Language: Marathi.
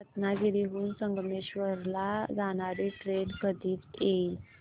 रत्नागिरी हून संगमेश्वर ला जाणारी ट्रेन कधी येईल